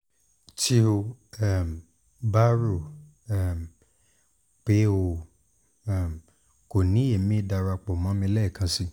ti o um ba ro um pe o um ko ni ẹmi darapọ mọ mi lẹẹkansi